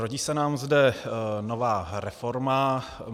Rodí se nám zde nová reforma.